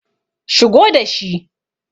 Shigo da shi.